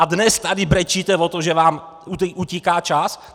A dnes tady brečíte o tom, že vám utíká čas?!